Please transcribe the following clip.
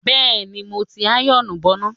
Bẹ́ẹ̀ni, mo ti ti àyọ̀ọ̀nù bọná.